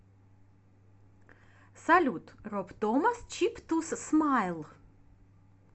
салют роб томас чип тус смайл